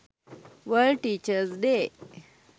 world teachers day